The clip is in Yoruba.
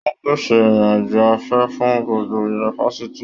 Wọn pèsè irin-ajo afẹ fún gbogbo yunifásítì.